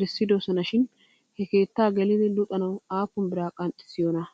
erissidosona shin he keettaa gelidi luxanaw aappun biraa qanxxissiyoonaa ?